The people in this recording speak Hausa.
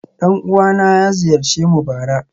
Dan uwana ya ziyarce mu bara